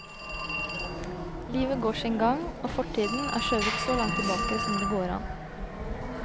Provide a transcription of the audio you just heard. Livet går sin gang, og fortiden er skjøvet så langt tilbake som det går an.